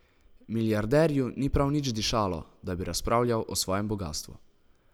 Milijarderju ni prav nič dišalo, da bi razpravljal o svojem bogastvu.